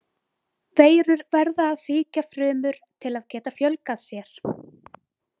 Veirur verða að sýkja frumur til að geta fjölgað sér.